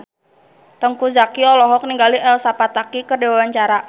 Teuku Zacky olohok ningali Elsa Pataky keur diwawancara